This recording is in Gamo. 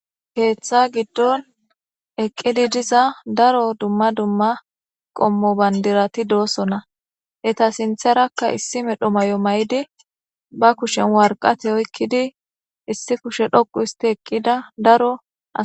Keeththa giddon eqqidi diza daro dumma dumma qommo bandirati doosonna eeta sintharakka issi medho may7o may7di ba kushen warqate oykkidi issi kushe dhoqu histi eqqida daro as